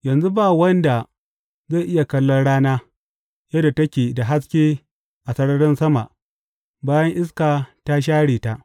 Yanzu ba wanda zai iya kallon rana, yadda take da haske a sararin sama bayan iska ta share ta.